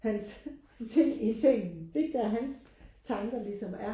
hans ting i sengen det er ikke der hans tanker ligesom er